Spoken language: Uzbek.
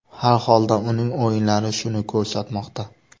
Har holda uning o‘yinlari shuni ko‘rsatmoqda.